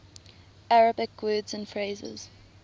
arabic words and phrases